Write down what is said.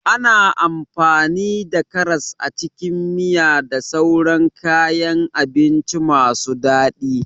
Ana amfani da karas a cikin miya da sauran kayan abinci masu daɗi.